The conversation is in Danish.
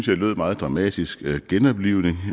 lød meget dramatisk med en genoplivning